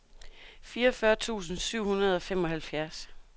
fireogfyrre tusind syv hundrede og femoghalvfjerds